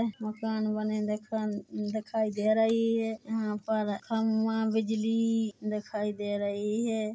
मकान बने देखन दिखाई रही है यहाँ पर खम्भा बिजली दिखाई दे रही है।